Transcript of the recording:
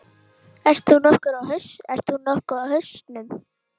Ert þú nokkuð á hausnum?